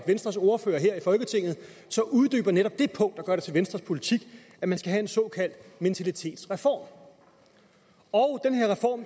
venstres ordfører her i folketinget uddyber netop det punkt der gør det til venstres politik at man skal have en såkaldt mentalitetsreform og